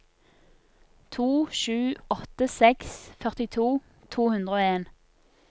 to sju åtte seks førtito to hundre og en